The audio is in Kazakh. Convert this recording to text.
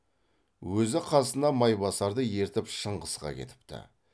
өзі қасына майбасарды ертіп шыңғысқа кетіпті